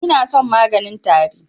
Inason maganin tari.